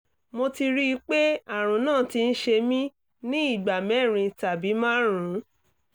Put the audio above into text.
mo ti rí i pé àrùn náà ti ń ṣe mí ní ìgbà mẹ́rin tàbí márùn-ún